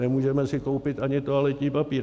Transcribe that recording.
Nemůžeme si koupit ani toaletní papír.